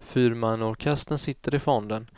Fyrmannaorkestern sitter i fonden,